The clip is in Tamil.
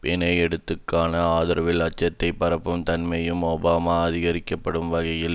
பிணை எடுத்துக்கான ஆதரவில் அச்சத்தை பரப்பும் தன்மையையும் ஒபாமா அதிகப்படுத்திய வகையில்